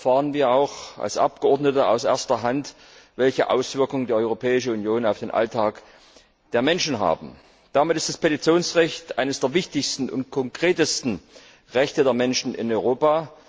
So erfahren wir als Abgeordnete auch aus erster Hand, welche Auswirkungen die Europäische Union auf den Alltag der Menschen hat. Damit ist das Petitionsrecht eines der wichtigsten und konkretesten Rechte der Menschen in Europa.